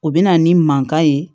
O bɛ na ni mankan ye